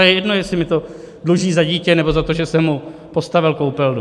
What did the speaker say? A je jedno, jestli mi to dluží za dítě, nebo za to, že jsem mu postavil koupelnu.